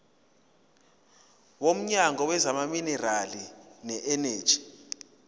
womnyango wezamaminerali neeneji